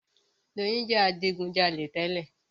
Doyin jẹ adigujalè tẹ́lẹ̀.